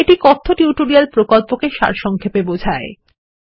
এটি কথ্য টিউটোরিয়াল প্রকল্পটিকে সারসংক্ষেপে বোঝায়